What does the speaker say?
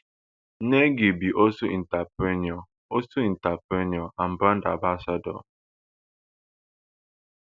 nengi be also entrepreneur also entrepreneur and brand ambassador